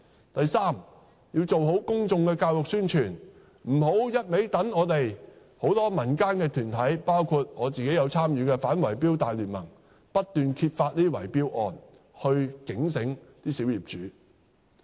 第三，政府必須做好公眾教育宣傳，不要只靠民間團體，包括我自己有參與的反圍標大聯盟不斷揭發這些圍標案來提醒小業主。